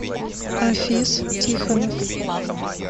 афис тихонов